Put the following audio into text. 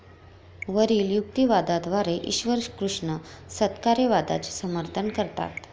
वरिल युक्तिवादाद्वारे ईश्वरकृष्ण सत्कार्यवादाचे समर्थन करतात.